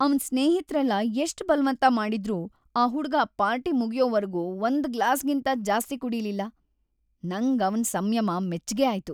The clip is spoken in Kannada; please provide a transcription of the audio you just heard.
ಅವ್ನ್ ಸ್ನೇಹಿತ್ರೆಲ್ಲ ಎಷ್ಟ್‌ ಬಲ್ವಂತ ಮಾಡಿದ್ರೂ ಆ ಹುಡ್ಗ ಪಾರ್ಟಿ ಮುಗ್ಯೋವರ್ಗೂ ಒಂದ್‌ ಗ್ಲಾಸ್‌ಗಿಂತ ಜಾಸ್ತಿ ಕುಡೀಲಿಲ್ಲ, ನಂಗ್‌ ಅವ್ನ್‌ ಸಂಯಮ ಮೆಚ್ಗೆ ಆಯ್ತು.